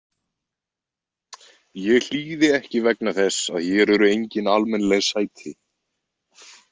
Ég hlýði ekki vegna þess að hér eru engin almennileg sæti.